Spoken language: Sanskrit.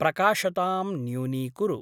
प्रकाशतां न्यूनीकुरु।